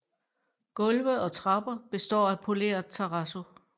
Gulve og trapper består af poleret terrazzo